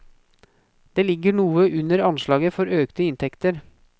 Det ligger noe under anslaget for økte inntekter.